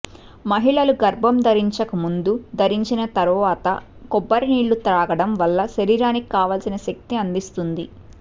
మహిళలు గర్భం ధరించకు ముందు ధరించిన తర్వాత ఈ కొబ్బరి నీళ్ళత్రాగడం వల్ల శరీరానికి కావల్సిన శక్తిని అందిస్తుంది